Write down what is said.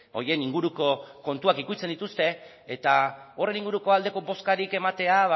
horien inguruko kontuak ukitzen dituzte eta horren inguruko aldeko bozkarik ematea